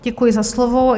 Děkuji za slovo.